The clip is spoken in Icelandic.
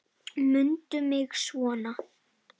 Mundu mig svona.